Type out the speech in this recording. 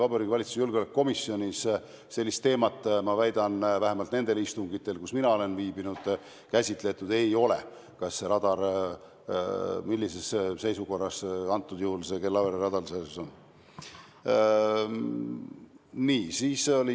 Vabariigi Valitsuse julgeolekukomisjonis, ma väidan, vähemalt nendel istungitel, kus mina olen viibinud, ei ole käsitletud sellist teemat, millises seisukorras see Kellavere radar siis on.